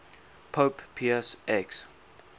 pope pius x